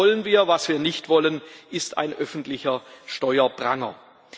Das wollen wir. Was wir nicht wollen, ist ein öffentlicher Steuerpranger.